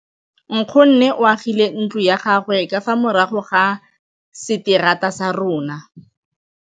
Nkgonne o agile ntlo ya gagwe ka fa morago ga seterata sa rona.